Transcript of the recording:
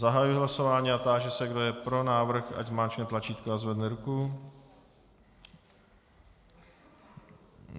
Zahajuji hlasování a táži se, kdo je pro návrh, ať zmáčkne tlačítko a zvedne ruku.